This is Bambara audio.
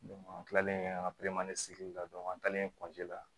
an kilalen an ka sigi la an taalen la